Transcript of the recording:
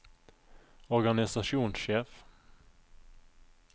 organisasjonssjef